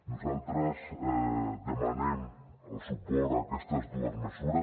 nosaltres demanem el suport a aquestes dues mesures